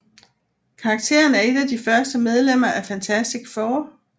Karakteren er et af de første medlemmer af Fantastic Four